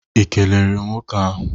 Ị kelere nwoke ahụ?